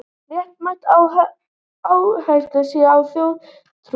Réttmætt að áhersla sé á þjóðtrú